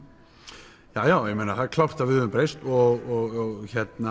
já það er klárt að við höfum breyst og